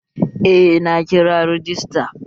Eh, na kira rajista